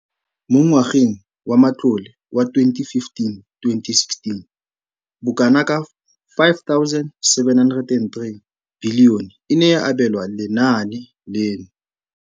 Mo ngwageng wa matlole wa 2015,16, bokanaka R5 703 bilione e ne ya abelwa lenaane leno.